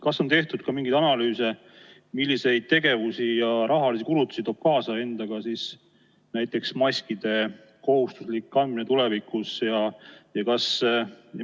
Kas on tehtud mingeid analüüse, milliseid tegevusi ja rahalisi kulutusi toob tulevikus endaga kaasa näiteks maskide kohustuslik kandmine?